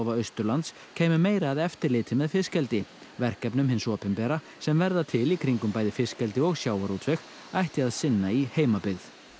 Austurlands kæmu meira að eftirliti með fiskeldi verkefnum hins opinbera sem verða til í kringum bæði fiskeldi og sjávarútveg ætti að sinna í heimabyggð